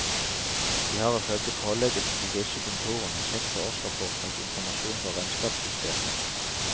De har ifølge pålegget til disse kontorene sett på årsrapporter og informasjon fra regnskapssystemet.